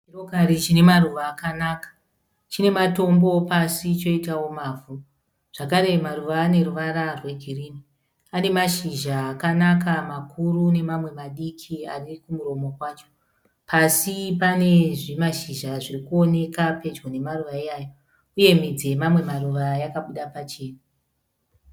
Chirokari chine maruva akanaka. Chine matombo pasi choitawo mavhu zvakare maruva ane ruvara rwegirini. Ane mashizha akanaka makuru nemamwe madiki ane kumuromo kwacho. Pasi pane zvimashizha zviri kuoneka pedyo nemaruva iwayo uye midzi yemamwe maruva yakabuda pachena.